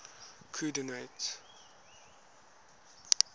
coordinates